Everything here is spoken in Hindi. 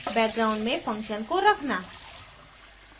background में फंक्शन को रखना